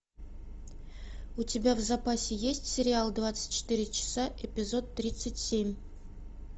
у тебя в запасе есть сериал двадцать четыре часа эпизод тридцать семь